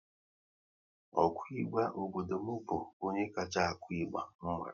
Ọ ku ịgba obodo m bụ onye kacha akụ ịgba m mara